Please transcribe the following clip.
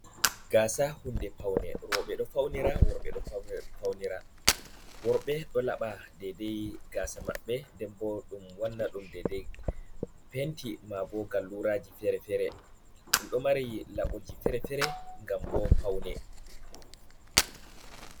Gaasa huunde paune roɓe ɗo faunira, worɓe ɗo faunira. Worɓe ɗo laɓa dedai gasa maɓɓe, nden ɓo dum ɗo wanna ɗum dedei penti maabo galluraji fere-fere ɗum ɗo mari laboji fere-fere ngam ɓo paune.